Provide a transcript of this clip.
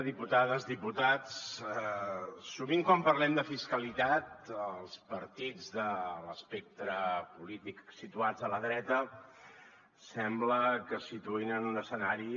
diputades diputats sovint quan parlem de fiscalitat els partits de l’espectre polític situats a la dreta sembla que es situïn en un escenari